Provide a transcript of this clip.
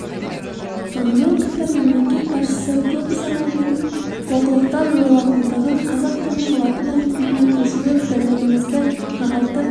сонымен қатар мемлекет басшысы көп ұзамай бұл олқылықтар жойылатындығын қазақ тілінің латын әліпбиіне көшуі бірлігімізді нығайтып